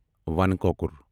وَن کۄکُر